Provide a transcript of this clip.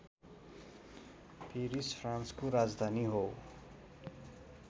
Paris फ्रान्सको राजधानि हो